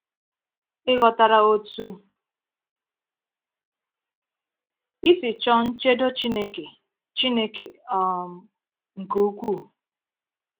Ị ghọtara otú ị si chọọ nchedo Chineke Chineke um nke ukwuu?